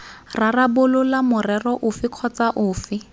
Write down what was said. rarabolola morero ofe kgotsa ofe